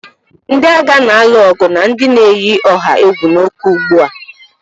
Ndị agha na-alụ ọgụ na ndị na-eyi ọha egwu n'ókè ugbu a